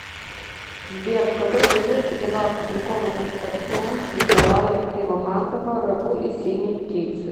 сбер в какой газете была опубликована статья николая кривомазова рагу из синей птицы